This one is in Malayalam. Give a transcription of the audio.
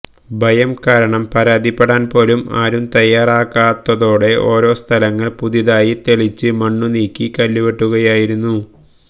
ഭയം കാരണം പരാതിപ്പെടാന് പോലും ആരും തയ്യാറാകാത്തതോടെ ഓരോ സ്ഥലങ്ങള് പുതുതായി തെളിച്ച് മണ്ണു നീക്കി കല്ലുവെട്ടുകയായിരുന്നു